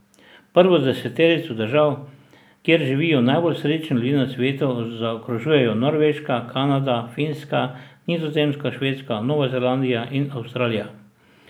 Prvo deseterico držav, kjer živijo najbolj srečni ljudje na svetu, zaokrožujejo Norveška, Kanada, Finska, Nizozemska, Švedska, Nova Zelandija in Avstralija.